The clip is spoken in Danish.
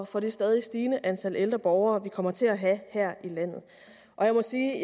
for det stadig stigende antal ældre borgere vi kommer til at have her i landet jeg må sige